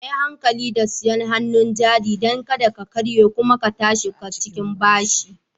Kuyi hankali da sayar hannun jari don kada ta karye kuma ku tashi a cikin bashi